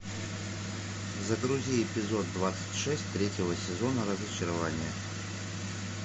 загрузи эпизод двадцать шесть третьего сезона разочарование